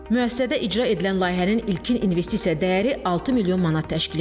Müəssisədə icra edilən layihənin ilkin investisiya dəyəri 6 milyon manat təşkil edir.